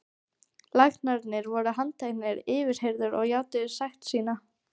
Læknarnir voru handteknir, yfirheyrðir og játuðu sekt sína.